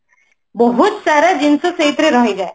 ବହୁତ ସାରା ଜିନିଷ ସେଇଥିରେ ରହି ଯାଏ